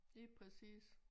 Lige præcis